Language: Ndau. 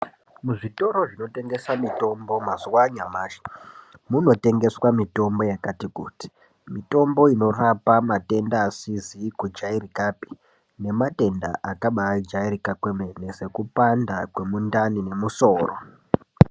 Muzvitoro zvinotengesa mitombo mazuvaanyamashi munotengeswa mitombo yakati kuti. Mitombo inorapa matenda asizi kujairikapi nematenda akabajairika kwemene nekupanda kwemundani nemusoro.